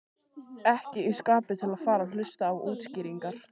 Ekki í skapi til að fara að hlusta á útskýringar.